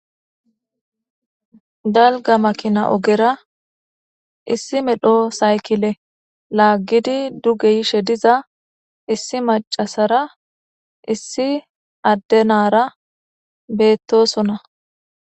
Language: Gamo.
Galga makina ogera issi medho saykile laaggidi duge yishe diza issi macasara issi addenara beettosona.